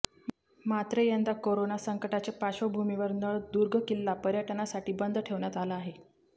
मात्र यंदा कोरोना संकटाच्या पार्श्वभूमीवर नळदुर्ग किल्ला पर्यटनासाठी बंद ठेवण्यात आला आहे